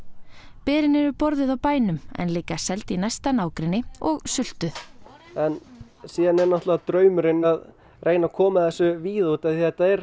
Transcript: berin eru borðuð á bænum en líka seld í næsta nágrenni og sultuð en svo er náttúrulega draumurinn að reyna að koma þessu víðar því þetta er